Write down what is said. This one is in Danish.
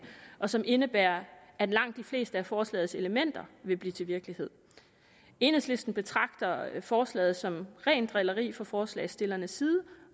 som indebærer at langt de fleste af forslagets elementer vil blive til virkelighed enhedslisten betragter forslaget som rent drilleri fra forslagsstillernes side